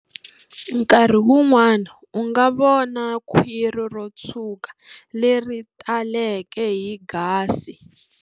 Nkarhi wun'wana u nga vona khwiri ro tshuka leri taleke hi gasi.